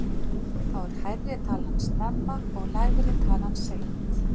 Þá er hærri talan snemma og lægri talan seint.